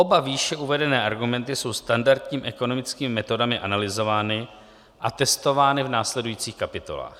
Oba výše uvedené argumenty jsou standardními ekonomickými metodami analyzovány a testovány v následujících kapitolách.